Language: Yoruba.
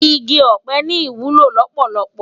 Igi òpè ni iwúló lópólópó